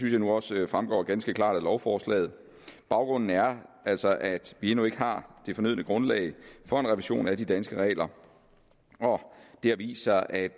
jeg nu også fremgår ganske klart af lovforslaget baggrunden er altså at vi endnu ikke har det fornødne grundlag for en revision af de danske regler det har vist sig at